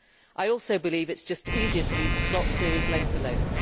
I also believe it is just easier to leave the slots series length alone.